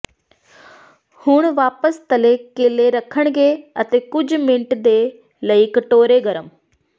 ਹੁਣ ਵਾਪਸ ਤਲੇ ਕੇਲੇ ਰੱਖਣਗੇ ਅਤੇ ਕੁਝ ਮਿੰਟ ਦੇ ਲਈ ਕਟੋਰੇ ਗਰਮ